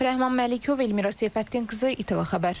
Rəhman Məlikov, Elmira Seyfəddin qızı, ITV Xəbər.